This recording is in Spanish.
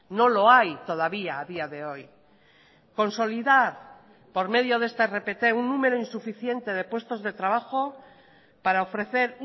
no lo hay todavía a día de hoy consolidar por medio de esta rpt un número insuficiente de puestos de trabajo para ofrecer